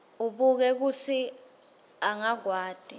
abuke kutsi angakwati